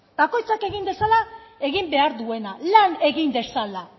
bakoitzak egin dezala egin behar duena lan egin dezala